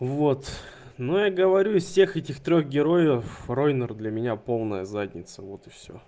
вот ну я говорю из всех этих трёх героев ройнер для меня полная задница вот и всё